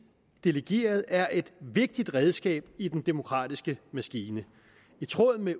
delegerede er et vigtigt redskab i den demokratiske maskine i tråd med